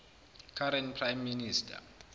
current prime minister